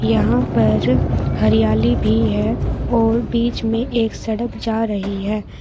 यहां पर हरियाली भी है और बीच में एक सड़क जा रही है।